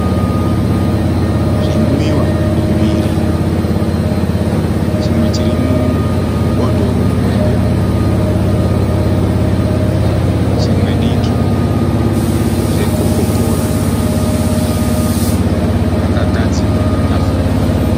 Zvinwiwa zviviri , chimwe chiri mubhodhoro hombe , rimwe diki. Zve koko kola zvakagadzikwa patafura.